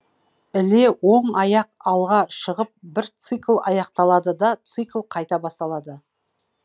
іле оң аяқ алға шығып бір цикл аяқталады да цикл қайта басталады